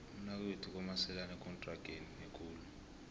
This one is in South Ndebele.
umnakwethu komeselani ekontrageni ekulu